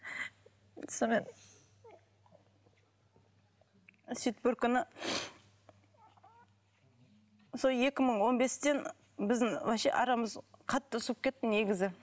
сонымен сөйтіп бір күні сол екі мың он бестен біздің вообще арамыз қатты суып кетті негізі